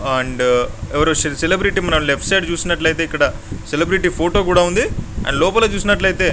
and ఎవరు celebrity మనం left side ఇక్కడ సెలెబ్రెటీ ఫోటో కూడా ఉంది.లోపల చూసినట్లయితే--